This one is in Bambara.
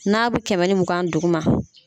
N'a be kɛmɛ ni mugan duguma